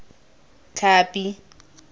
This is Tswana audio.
tlhapi